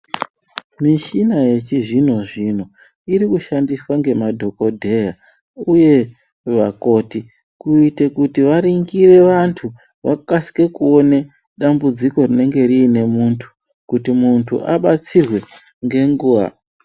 Mishina yechizvino zvino iri kushandiswa nemadhogodheya uye vakoti kuite varingire vantu vakasike kuone dambudziko rinenge riine muntu kuti muntu abatsirwe ngenguva.